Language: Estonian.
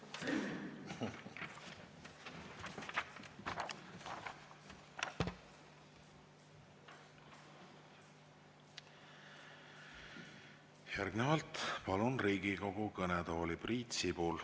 Järgnevalt palun Riigikogu kõnetooli Priit Sibula.